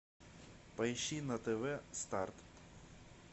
поищи на тв старт